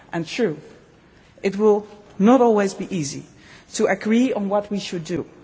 we have. True, it will not always be easy to agree on what we should